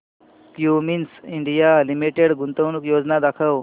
Cummins India limited गुंतवणूक योजना दाखव